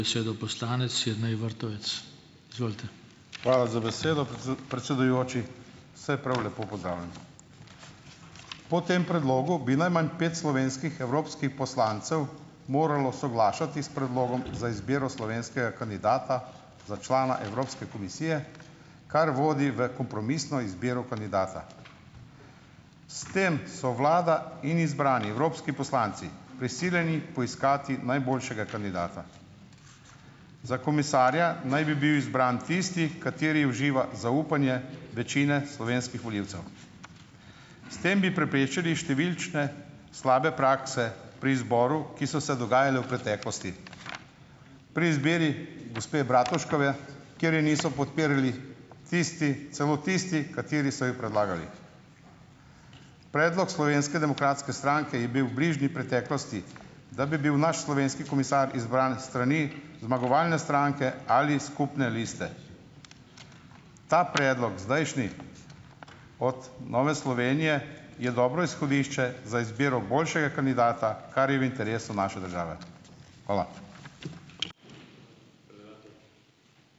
Hvala za besedo, predsedujoči. Vse prav lepo pozdravljam! Po tem predlogu bi najmanj pet slovenskih evropskih poslancev moralo soglašati s predlogom za izbiro slovenskega kandidata za člana Evropske komisije, kar vodi v kompromisno izbiro kandidata. S tem so vlada in izbrani evropski poslanci prisiljeni poiskati najboljšega kandidata. Za komisarja naj bi bil izbran tisti, kateri uživa zaupanje večine slovenskih volilcev. S tem bi preprečili številčne slabe prakse pri izboru, ki so se dogajale v preteklosti. Pri izbiri gospe Bratuškove, kjer je niso podpirali tisti, celo tisti, kateri so jo predlagali. Predlog Slovenske demokratske stranke je bil v bližnji preteklosti, da bi bil naš slovenski komisar izbran s strani zmagovalne stranke ali skupne liste. Ta predlog, zdajšnji, od Nove Slovenije je dobro izhodišče za izbiro boljšega kandidata, kar je v interesu naše države. Hvala.